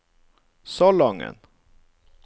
Salangen